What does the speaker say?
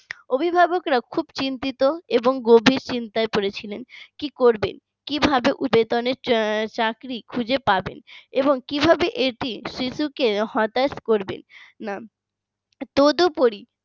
অভিভাবকরা খুব চিন্তিত এবং গভীর চিন্তায় পড়েছিলেন কি করবেন কিভাবে বেতনের চাকরি খুঁজে পাবেন এবং কিভাবে এটি শিশুকে হতাশ করবে না তদপরী